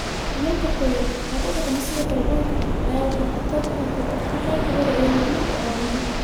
Dhulalka qoyan, oo u dhaqma sida kaarboonka, ayaa waxaa khatar ku ah kor u kaca heerka badda iyo horumarka aadanaha.